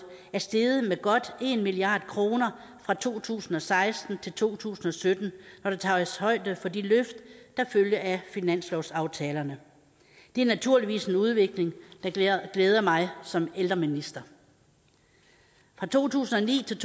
er steget med godt en milliard kroner fra to tusind og seksten til to tusind og sytten når der tages højde for de løft der følger af finanslovsaftalerne det er naturligvis en udvikling der glæder mig som ældreminister for to tusind og ni til